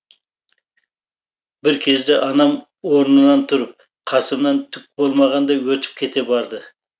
бір кезде анам орнынан тұрып қасымнан түк болмағандай өтіп кете барды